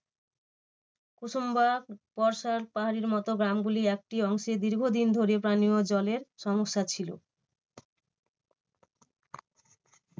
উসুম্বা বর্ষার পাহাড়ির মতো গ্রামগুলি একটি অংশে দীর্ঘদিন ধরে পানিও জলের সমস্যা ছিল।